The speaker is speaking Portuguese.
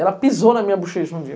Ela pisou na minha bochecha um dia.